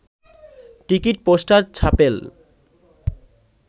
ticket poster ছাপেন